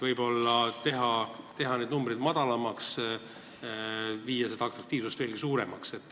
Võib-olla võiks need numbrid madalamaks viia ja seda atraktiivsust veelgi suurendada.